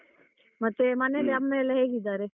ಮತ್ತೆ ಹ್ಮ ಮನೆಯಲ್ಲಿ ಅಮ್ಮ ಎಲ್ಲ ಹೇಗಿದ್ದಾರೆ?